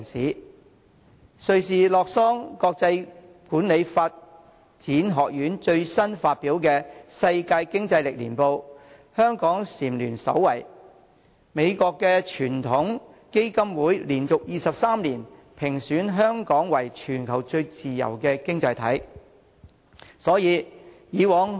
根據瑞士洛桑國際管理發展學院最新發表的《世界競爭力年報》，香港蟬聯首位，美國傳統基金會亦連續23年將香港評為全球最自由的經濟體。